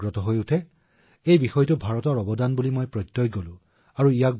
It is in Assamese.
মই বুজি পাইছিলো যে এই বিষয়টো যিটো ভাৰতৰ উপহাৰ যিটো আমাৰ ঐতিহ্য বিশ্বৰ প্ৰতিটো কোণলৈ লৈ যাব পাৰি